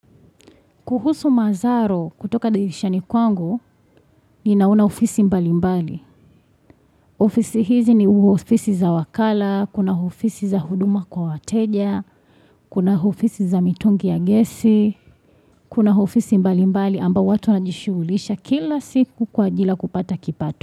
Kuhusu mazaro kutoka dirishani kwangu, ninaona ofisi mbali mbali. Ofisi hizi ni uo ofisi za wakala, kuna ofisi za huduma kwa wateja, kuna ofisi za mitungi ya gesi, kuna ofisi mbali mbali amba watu wanajishuulisha kila siku kwa ajili ya kupata kipato.